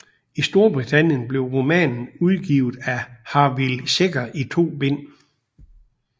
I Storbritannien blev romanen udgivet af Harvill Secker i to bind